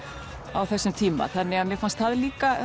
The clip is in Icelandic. á þessum tíma þannig að mér fannst það líka